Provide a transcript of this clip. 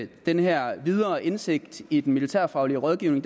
den her videre indsigt i den militærfaglige rådgivning